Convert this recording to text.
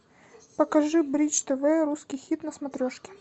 покажи бридж тв русский хит на смотрешке